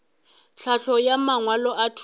tlhahlo ya mangwalo a thuto